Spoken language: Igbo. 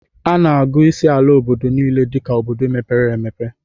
A na-agụ isii ala obodo niile dika obodo mepere emepe